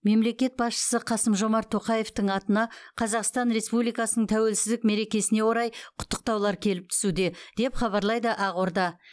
мемлекет басшысы қасым жомарт тоқаевтың атына қазақстан республикасының тәуелсіздік мерекесіне орай құттықтаулар келіп түсуде деп хабарлайды ақорда